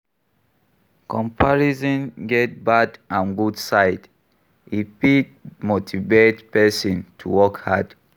Comparison get bad and good side, e fit motivate person to work hard